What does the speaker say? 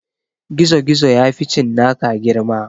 Gizogizo ya fi cinnaka girma